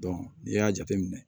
n'i y'a jateminɛ